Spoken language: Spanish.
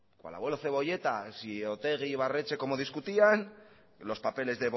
cual abuelo cebolleta si otegi e ibarretxe cómo discutían los papeles